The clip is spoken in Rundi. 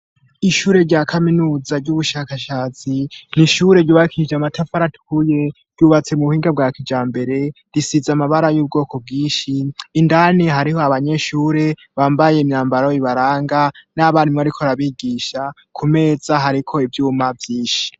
Ishure rya kaminuza ry'ubushakashatsi nishure ryubakije matafaratuye ryubatse mu buhinga bwa kijambere risiza amabara y'ubwoko bwishi indani hariho abanyeshure bambaye imyambaro ibaranga n'abandimwe arikorabigisha ku meza hariko ivyuma vyinshi.